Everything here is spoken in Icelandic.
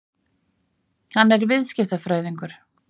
Hann er viðskiptafræðingur.